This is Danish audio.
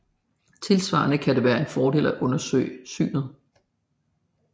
Tilsvarende kan det være en fordel at undersøge synet